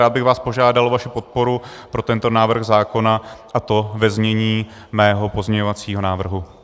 Rád bych vás požádal o podporu pro tento návrh zákona, a to ve znění mého pozměňovacího návrhu.